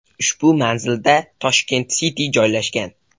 Ushbu manzilda Tashkent City joylashgan.